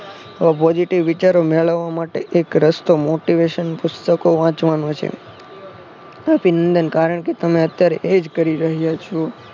positive વિચારો મોળવવા માટે એક રસ્તો Motivation પુસ્તકો વાંચવાનો છે. અભિનંદન કારણ કે તમે અત્યરે એ જ કરી રહ્યા છો.